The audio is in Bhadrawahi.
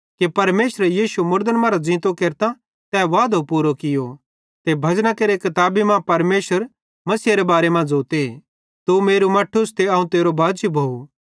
कि परमेशरे यीशु मसीह मुड़दन मरां ज़ींतो केरतां तै वादो पूरू कियो ते भजना केरि किताबी मां परमेशर मसीहेरे बारे मां ज़ोते तू मेरू मट्ठूस ते अवं तेरो बाजी भोव